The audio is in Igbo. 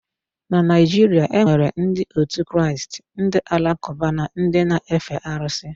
Na Naịjirịa enwere ndị òtù Kraịst, ndị alakụba na ndị n'efe arụsị.